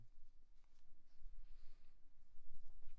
Ligner en hyggelig provinsby ik?